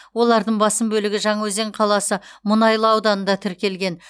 олардың басым бөлігі жаңаөзен қаласы мұнайлы ауданында тіркелген